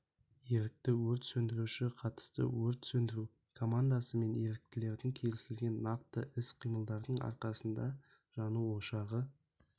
ерікті өрт сөндіруші қатысты өрт сөндіру командасы мен еріктілердің келісілген нақты іс-қимылдарының арқасында жану ошағы